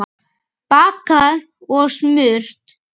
Bakað og smurt.